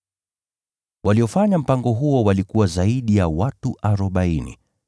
Waliofanya mpango huo walikuwa zaidi ya watu arobaini.